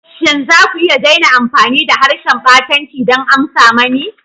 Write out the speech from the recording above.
Shin za ku iya daina amfani da harshen ɓatanci don amsa mani?